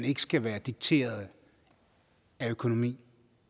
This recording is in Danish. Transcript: ikke skal være dikteret af økonomi